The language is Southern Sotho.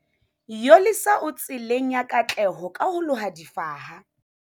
Yolisa o tseleng ya katleho ka ho loha difaha